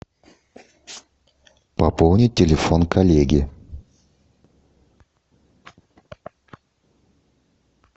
пополнить телефон коллеги